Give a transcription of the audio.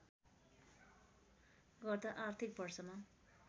गत आर्थिक वर्षमा